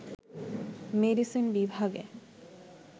medicine বিভাগে